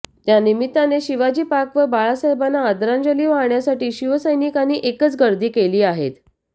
त्यानिमित्ताने शिवाजीपार्कवर बाळासाहेबांना आदरांजली वाहण्यासाठी शिवसैनिकांनी एकच गर्दी केली आहेत